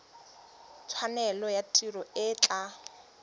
tshwanelo ya tiro e tla